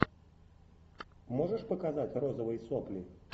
можешь показать розовые сопли